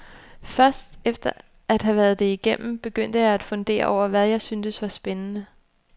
Først efter at have været det igennem, begyndte jeg at fundere over, hvad jeg syntes var spændende.